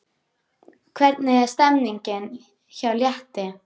Hvernig er stemningin hjá Létti?